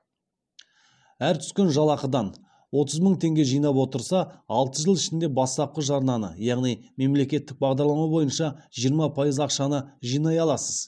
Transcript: әр түскен жалақыдан отыз мың теңге жинап отырса алты жыл ішінде бастапқы жарнаны яғни мемлекеттік бағдарлама бойынша жиырма пайыз ақшаны жинай аласыз